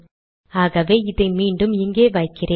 ஆகவே இதை மீண்டும் இங்கே வைக்கிறேன்